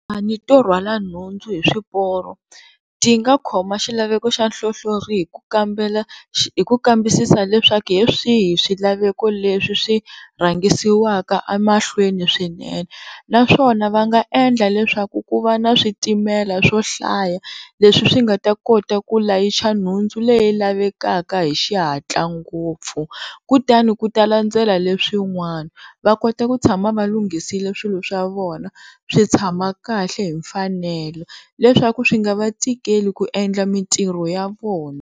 Tikhampani to rhwala nhundzu hi swiporo ti nga khoma xilaveko xa hlohlori hi ku kambela hi ku kambisisa leswaku hi swihi swilaveko leswi swi rhangisiwaka emahlweni swinene naswona va nga endla leswaku ku va na switimela swo hlaya leswi swi nga ta kota ku layicha nhundzu leyi lavekaka hi xihatla ngopfu, kutani ku ta landzela leswin'wana va kota ku tshama valunghisile swilo swa vona swi tshama kahle hi mfanelo leswaku swi nga va tikeli ku endla mitirho ya vona.